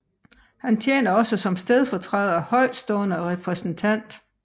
Han tjener også som stedfortræder Højtstående repræsentant